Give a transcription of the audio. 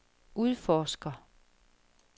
udforsker